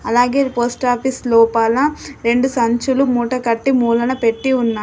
అలాగే పోస్టాఫీస్ లోపల రెండు సంచులు మూటకట్టి మూలన పెట్టి ఉన్నాయి.